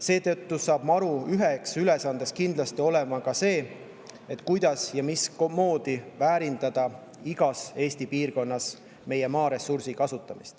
Seetõttu saab MaRu üks ülesanne kindlasti olema see, kuidas väärindada igas Eesti piirkonnas meie maaressurssi.